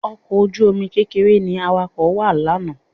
Ọkọ̀ ojú-omi kékeré ni Awakọ̀ wà lánàá